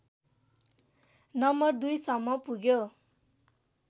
number २ सम्म पुग्यो